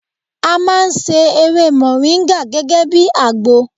A máa ń se ewé mòríńgà gẹ́gẹ́ bí àgbo